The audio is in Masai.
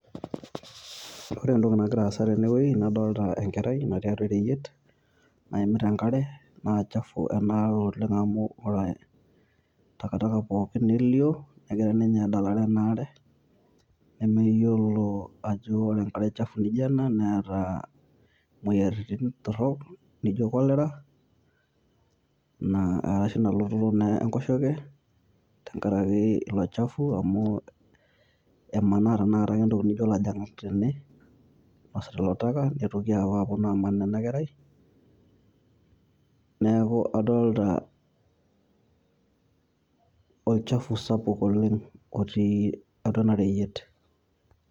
Ore entoki nagira aasa tene wueii nadolita Enkerai natii atwa ereyiet, naimita enk'are naa chafu ena are oleng' amu ore takitaka pooki nelio negira ninye adalare ena are nemeyiolo ajo ore enk'ariak chafui naijio Kuna Neeta imoyiaritin torrok naijio, Cholera naa ashu Ina lototo naa Enkoshoke tengaraki ilo chafuu amu emaana naake tanakata entokitin' naijio elajong'ak tene oinasita ilo chafuu aaman ena kerai neeku adolita olchafu sapuk oleng' otii atwa ena reyiet.